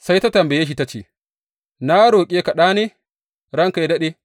Sai ta tambaya shi ta ce, Na roƙe ka ɗa ne, ranka yă daɗe?